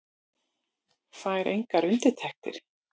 Fær engar undirtektir.